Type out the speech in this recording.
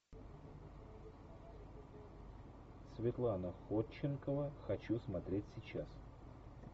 светлана ходченкова хочу смотреть сейчас